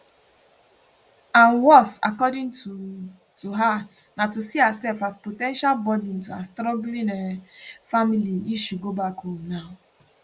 and worse according to to her na to see herself as po ten tial burden to her struggling um family if she go back home now